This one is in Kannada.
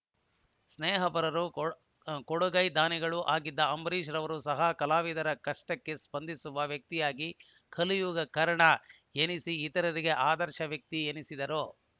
ಸ್ನೇಹಪರರೂ ಕೊಡುಗೈ ದಾನಿಗಳೂ ಆಗಿದ್ದ ಅಂಬರೀಶ್‌ ರವರು ಸಹ ಕಲಾವಿದರ ಕಷ್ಟಕ್ಕೆ ಸ್ಪಂದಿಸುವ ವ್ಯಕ್ತಿಯಾಗಿ ಕಲಿಯುಗ ಕರ್ಣ ಎನಿಸಿ ಇತರರಿಗೆ ಆದರ್ಶ ವ್ಯಕ್ತಿ ಎನಿಸಿದ್ದರು